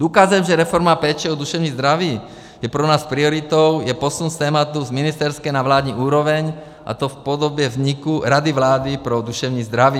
Důkazem, že reforma péče o duševní zdraví je pro nás prioritou, je posun z tématu z ministerské na vládní úroveň, a to v podobě vzniku Rady vlády pro duševní zdraví.